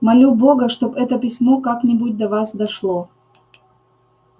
молю бога чтоб это письмо как-нибудь до вас дошло